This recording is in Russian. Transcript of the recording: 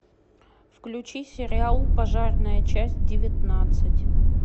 включи сериал пожарная часть девятнадцать